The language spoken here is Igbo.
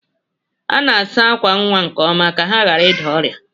A na-asa ákwà nwa nke ọma ka ha ghara ịda ọrịa.